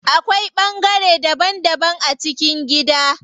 Akwai bangare daban daban a cikin gida.